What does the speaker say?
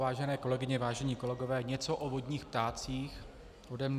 Vážené kolegyně, vážení kolegové, něco o vodních ptácích ode mne.